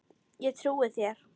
Ég trúi þér